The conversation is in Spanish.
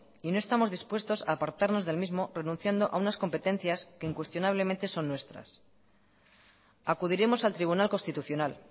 y no estamos dispuestos a apartarnos del mismo renunciando a unas competencias que incuestionablemente son nuestras acudiremos al tribunal constitucional